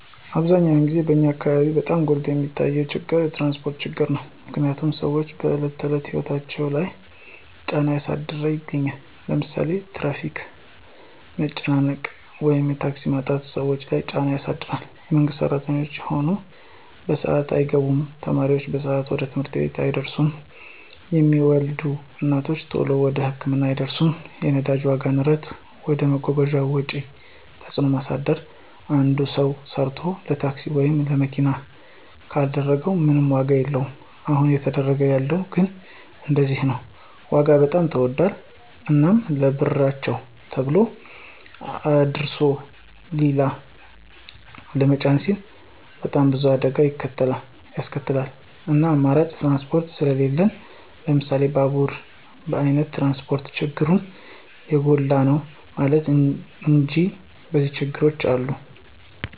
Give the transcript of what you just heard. አብዛኛውን ግዜ በኛ አካበቢ በጣም ጎልቶ የሚታየው ችግር የትራንስፖርት ችግር ነው። ምክንያትም ስዎች በዕለት ተዕለት ህይወታቸው ላይ ጫና እያሳደረ ይገኛል። ለምሳሌ የትራፊክ መጨናነቅ ወይም የታክሲ ማጣት ሰዎች ለይ ጫና ያሳድር የመንግስት ስራተኞች ከሆኑ በስአታቸው አይገቡም፣ ተማሪ በሰአቱ ወደ ትምህርት ቤት አይደርስም፣ የሚወልዱ እናቶች ተሎ ወደ ህክምና አይደርሱም። የነዳጅ ዋጋ ንረት ወደ መጓጓዣ ወጪ ተጽዕኖ ማሳደር አንድ ሰው ሰርቶ ለታክሲ ወይም ለመኪና ካደረገው ምንም ዋጋ የለወም አሁን እየተደረገ ያለው ግን እንደዚያ ነው ዋጋ በጣም ተወዶል። እናም ለብርቸው ተሎ አድርሶ ሊላ ለመጫን ሲሉ በጣም ብዙ አደጋ ይከሰታል እናም አማራጭ ትራንስፖርት ስሊለን ለምሳሌ ባቡራ አይነት ትራንስፖርት ችግሩ የጎላ ነው ለማለት እንጂ የኒዚያ ችግሮችም አሉ።